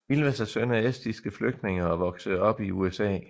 Ilves er søn af estiske flygtninge og voksede op i USA